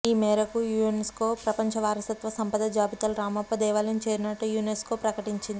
ఈ మేరకు యునెస్కో ప్రపంచ వారసత్వ సంపద జాబితాలో రామప్ప దేవాలయం చేరినట్లు యునెస్కో ప్రకటించింది